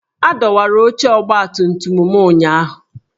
A dọwara oche ọgbatumtum m ụnyahụ